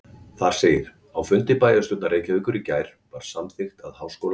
Þar segir: Á fundi bæjarstjórnar Reykjavíkur í gær var samþykkt að Háskóla